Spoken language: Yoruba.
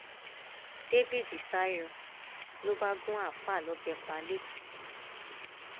dávid sá yọ ló bá gun àáfàá lọbẹ pa lẹkọọ